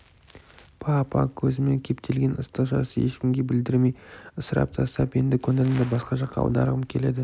па апа көзіме кептелген ыстық жасты ешкімге білдірмей ысырып тастап енді көңілімді басқа жаққа аударғым келеді